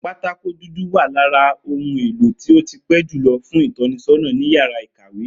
Pátákó dúdú wà lára ohun èlò tó ti pé julọ fún ìtọ́nisọ́nà ní yàrá ìkàwé